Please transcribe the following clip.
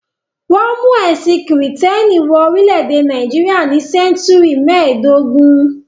Wọ́n mú ẹ̀sìn Kìrìtẹ́ẹ́nì wọ orílẹ̀-èdè Nàìjíríà ní sẹ́ńtúrì mẹ́ẹ̀dógún.